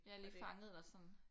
Ja lige fanget dig sådan